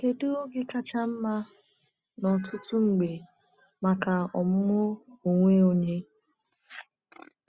Kedu oge kacha mma n’ọtụtụ mgbe maka ọmụmụ onwe onye?